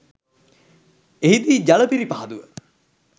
එහි දී ජල පිරිපහදුව